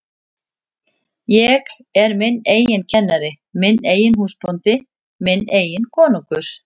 Ég er minn eigin kennari, minn eigin húsbóndi, minn eigin konungur.